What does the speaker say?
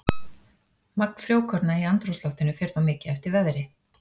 Magn frjókorna í andrúmsloftinu fer þó mikið eftir veðri.